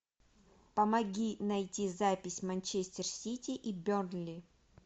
помоги найти запись манчестер сити и бернли